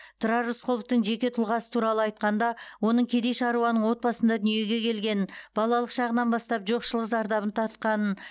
тұрар рысқұловтың жеке тұлғасы туралы айтқанда оның кедей шаруаның отбасында дүниеге келгенін балалық шағынан бастап жоқшылық зардабын тартқанын